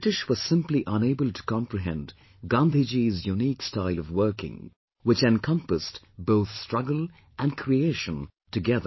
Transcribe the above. And the British were simply unable to comprehend Gandhi Ji's unique style of working, which encompassed both struggle and creation together